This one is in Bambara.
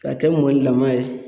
Ka kɛ mɔni laman ye.